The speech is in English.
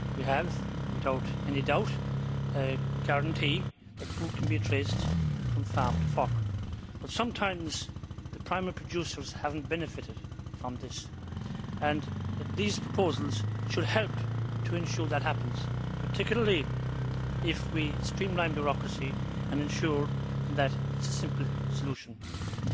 We have, without any doubt, a guarantee that food can be traced from farm to fork, but sometimes the primary producers have not benefitted from this, and these proposals should help to ensure that happens, particularly if we streamline the bureaucracy and ensure that the solutions are simple ones.